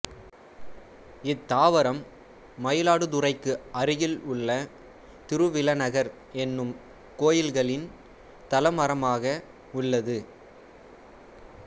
இத்தாவரம் மயிலாடுதுறைக்கு அருகில் உள்ள திருவிளநகர் என்னும் திருக்கோயிலின் தலமரமாக உள்ளது